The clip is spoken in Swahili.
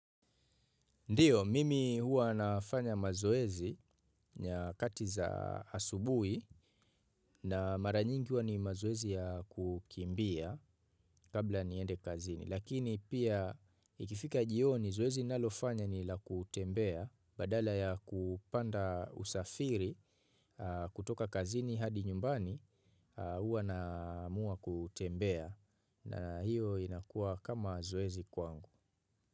Ndiyo, mimi hua nafanya mazoezi nyakati za asubui na mara nyingi hua ni mazoezi ya kukimbia kabla niende kazini. Lakini pia ikifika jioni zoezi ninalofanya ni la kutembea badala ya kupanda usafiri kutoka kazini hadi nyumbani hua naamua kutembea na hiyo inakua kama zoezi kwangu.